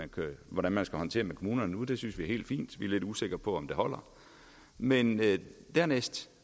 hvordan man skal håndtere med kommunerne og det synes vi er helt fint vi lidt usikre på om det holder men dernæst